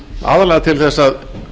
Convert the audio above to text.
aðallega til að